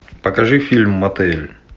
покажи фильм мотель